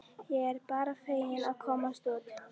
Ég er bara fegin að komast út!